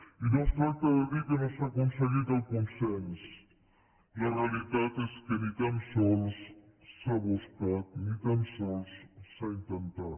i no es tracta de dir que no s’ha aconseguit el consens la realitat és que ni tan sols s’ha buscat ni tan sols s’han intentat